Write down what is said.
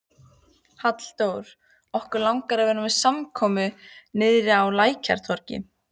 Halldór, okkur langar að vera með samkomu niðri á Lækjartorgi.